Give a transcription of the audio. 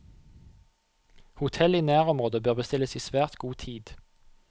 Hotell i nærområdet bør bestilles i svært god tid.